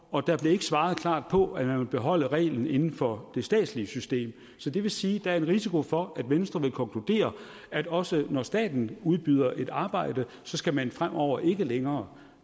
og der blev ikke svaret klart på at man vil beholde reglen inden for det statslige system så det vil sige at der er en risiko for at venstre vil konkludere at også når staten udbyder et arbejde skal man fremover ikke længere